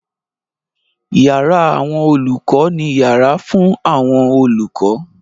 Yàrá àwọn olùkọ́ ni yàrá fún àwọn olùkọ́.